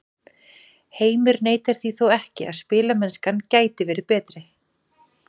Heimir neitar því þó ekki að spilamennskan gæti verið betri.